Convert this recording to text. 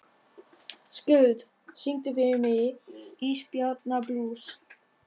Skuld, syngdu fyrir mig „Ísbjarnarblús“.